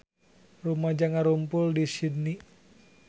Rumaja ngarumpul di Sydney